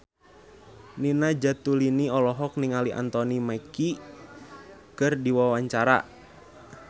Nina Zatulini olohok ningali Anthony Mackie keur diwawancara